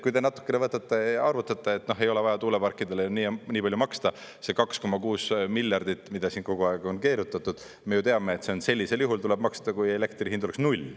Kui te natukene võtate, arvutate, ei ole vaja tuuleparkidele nii ja nii palju maksta, see 2,6 miljardit, mida siin kogu aeg on keerutatud, me ju teame, et sellisel juhul tuleb seda maksta, kui elektri hind oleks null.